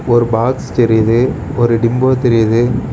ஒரு பாக்ஸ் தெரியுது ஒரு டிம்போ தெரியுது.